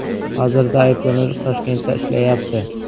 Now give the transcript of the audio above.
Hozirda ayblanuvchi Toshkentda ishlayapti.